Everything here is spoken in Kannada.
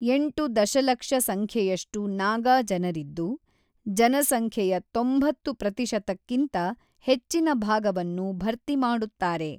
ಎಂಟು ದಶಲಕ್ಷ ಸಂಖ್ಯೆಯಷ್ಟು ನಾಗಾ ಜನರಿದ್ದು, ಜನಸಂಖ್ಯೆಯ ತೊಂಬತ್ತು ಪ್ರತಿಶತಕ್ಕಿಂತ ಹೆಚ್ಚಿನ ಭಾಗವನ್ನು ಭರ್ತಿಮಾಡುತ್ತಾರೆ.